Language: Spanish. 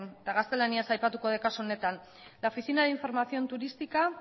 eta gaztelaniaz aipatuko dut kasu honetan la oficina de información turística